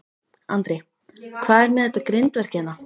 Andri: Hvað er með þetta grindverk hérna?